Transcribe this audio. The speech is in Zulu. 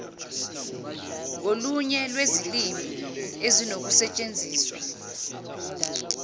ngolunye lwezilimi ezinokusetshenziswa